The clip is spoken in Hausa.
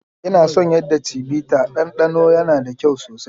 Ina son yadda chivita dandano, yana da kyau sosai.